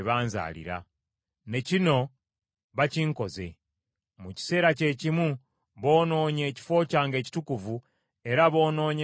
Ne kino bakinkoze. Mu kiseera kyekimu boonoonye ekifo kyange ekitukuvu, era boonoonye ne Ssabbiiti zange.